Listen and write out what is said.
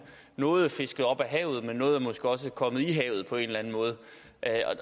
noget er fisket op af havet men noget er måske også kommet i havet på en eller anden måde